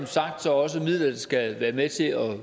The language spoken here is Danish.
sagt også midler der skal være med til at